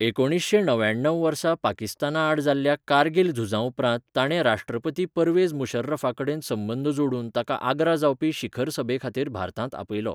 एकुणीसशें णव्याणव वर्सा पाकिस्तानाआड जाल्ल्या कारगील झुजाउपरांत ताणें राष्ट्रपती परवेझ मुशर्रफाकडेन संबंद जोडून ताका आग्रा जावपी शिखर सभेखातीर भारतांत आपयलो.